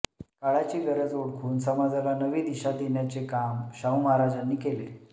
काळाची गरज ओळखून समाजाला नवी दिशा देण्याचे काम शाहू महाराजांनी केले